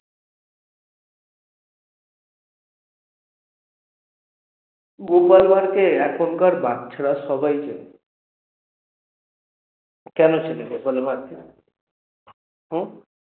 গোপাল ভাড়কে এখনকার বাচ্চারা সবাই চেনে কেন চেনে গোপাল ভাড়কে? হম